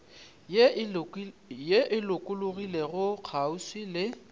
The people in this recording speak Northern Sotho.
ye e lokologilego kgauswi le